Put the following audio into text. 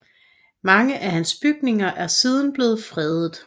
Mange af hans bygninger er siden blevet fredet